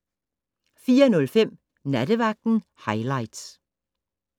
04:05: Nattevagten highlights